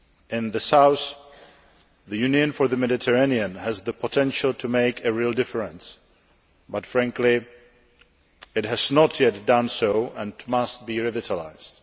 In the south, the Union for the Mediterranean has the potential to make a real difference but, frankly, it has not yet done so, and must be revitalised.